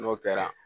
N'o kɛra